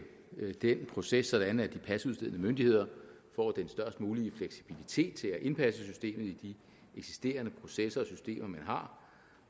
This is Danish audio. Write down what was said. den proces sådan at de pasudstedende myndigheder får den størst mulige fleksibilitet til at indpasse systemet i de eksisterende processer